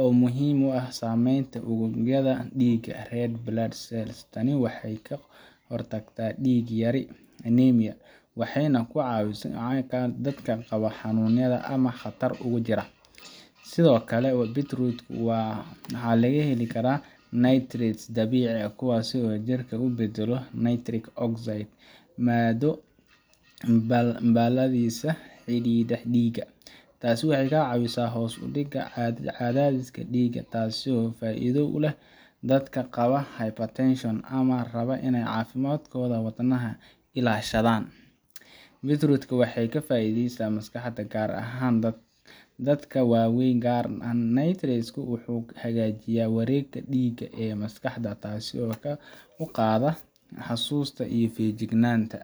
oo muhiim u ah samenta ururyaada diga red blood cells tani waxee ka hortagta diga yari anemia waxee nah kucawisa dadkan qawo xanun yada ama qatar ugu jira sithokale Beetroot waa maxaa laga heli karaa nitrate dabici ah kuwas oo jirka ubadalo nitrate oxide mado bahalisa xirira diga tasi waxee ka cawisa hos udiga cadhadhiska diga tasi oo faidho uleh dadka qawa ama rawa cafimadkodha wadnaha ilashadhan Beetroot waxee ka.faidhesa maskaxda gar han dadka wawen gar nitrate wuxuu hagajiya warega diga maskaxda tasi oo kor uqadha xasusta iyo fijignanta.